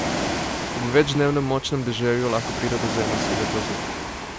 Ob večdnevnem močnem deževju lahko pride do zemeljskega plazu.